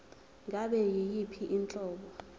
ngabe yiyiphi inhlobo